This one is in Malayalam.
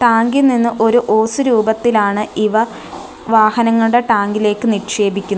ടാങ്ക് ഇൽ നിന്നും ഒരു ഹോസ് രൂപത്തിലാണ് ഇവ വാഹനങ്ങളുടെ ടാങ്കിലേക്ക് നിക്ഷേപിക്കുന്ന --